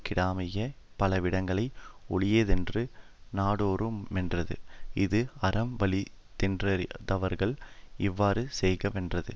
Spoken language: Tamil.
கிடமாகிய பல விடங்களும் ஒழியாதென்றது நாடோறு மென்றது இஃது அறம் வலி தென்றறிந்தவர்கள் இவ்வாறு செய்க வென்றது